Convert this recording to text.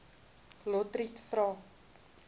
lotriet vra